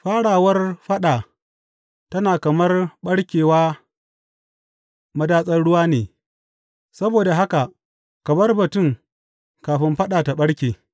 Farawar faɗa tana kamar ɓarkewa madatsar ruwa ne, saboda haka ka bar batun kafin faɗa ta ɓarke.